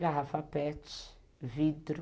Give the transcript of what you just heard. Garrafa pet, vidro.